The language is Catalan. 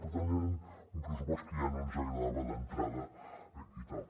per tant era un pressupost que ja no ens agradava d’entrada i tal